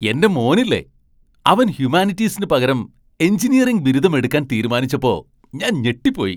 എന്റെ മോനില്ലേ, അവൻ ഹ്യുമാനിറ്റീസിന് പകരം എഞ്ചിനീയറിംഗ് ബിരുദം എടുക്കാൻ തീരുമാനിച്ചപ്പോ ഞാൻ ഞെട്ടിപ്പോയി.